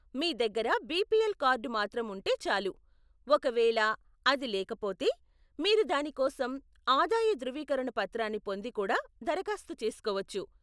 మీ దగ్గర BPL card మాత్రం ఉంటే చాలు, ఒకవేళ అది లేకపోతే, మీరు దాని కోసం ఆదాయ ధృవీకరణ పత్రాన్ని పొంది కూడా దరఖాస్తు చేసుకోవచ్చు.